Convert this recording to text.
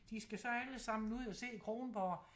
De skal så alle sammen ud og se Kronborg